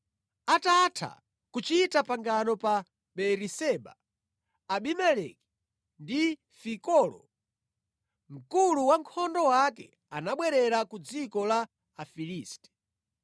Atatha kuchita pangano pa Beeriseba, Abimeleki ndi Fikolo mkulu wankhondo wake anabwerera ku dziko la Afilisti.